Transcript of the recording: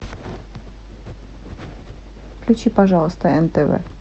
включи пожалуйста нтв